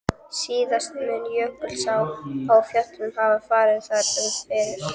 Síðast mun Jökulsá á Fjöllum hafa farið þar um fyrir